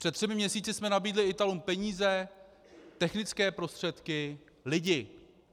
Před třemi měsíci jsme nabídli Italům peníze, technické prostředky, lidi.